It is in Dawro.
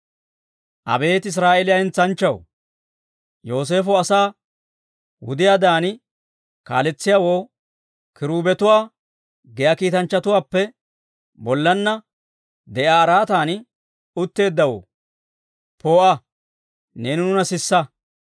Abeet Israa'eeliyaa hentsanchchaw, Yooseefo asaa wudiyaadan kaaletsiyaawoo, Kiruubetuwaa giyaa kiitanchchatuwaappe, bollaanna de'iyaa araatan utteeddawoo, poo'a, neeni nuuna sisa.